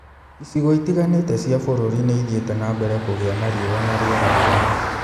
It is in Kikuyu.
Icigo itigani͂te cia bu͂ru͂ri ni͂ i͂thi͂iti͂ na mbere ku͂gi͂a na riu͂a na ri͂era ri͂u͂mu.